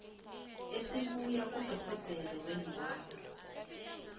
esibuya kudorhodera weenlwana